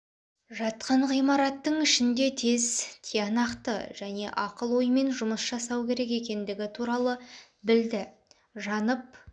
жатқан ғимараттың ішінде тез тиянақты және ақыл оймен жұмыс жасау керек екендігі туралы білді жанып